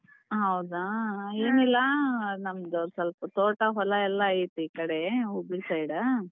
ಹೌದಾ ಏನಿಲ್ಲಾ ನಮ್ದು ಒಂದ್ ಸ್ವಲ್ಪ ತೋಟ ಹೊಲ ಎಲ್ಲಾ ಐತಿ ಈ ಕಡೆ ಹುಬ್ಳಿ side.